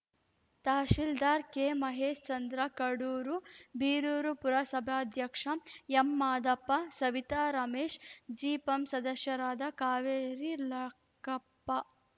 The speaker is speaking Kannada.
ತಹಸೀಲ್ದಾರ್‌ ಕೆಮಹೇಶ್ಚಂದ್ರ ಕಡೂರು ಬೀರೂರು ಪುರಸಭಾಧ್ಯಕ್ಷ ಎಂಮಾದಪ್ಪ ಸವಿತಾ ರಮೇಶ್‌ ಜಿಪಂ ಸದಸ್ಯರಾದ ಕಾವೇರಿ ಲಕ್ಕಪ್ಪ